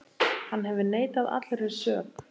Hann hefur neitað allri sök.